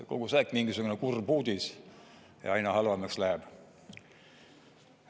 Kogu aeg on mingisugune kurb uudis ja aina halvemaks läheb.